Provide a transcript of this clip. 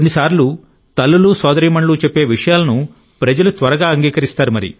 కొన్నిసార్లు తల్లులు సోదరీమణులు చెప్పే విషయాలను ప్రజలు త్వరగా అంగీకరిస్తారు